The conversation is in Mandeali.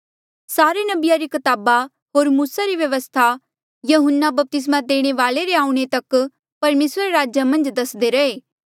सारे नबिया री कताबा होर मूसा री व्यवस्था यहून्ना बपतिस्मा देणे वाल्ऐ रे आऊणें तक परमेसरा रे राज्य मन्झ दसदे रहे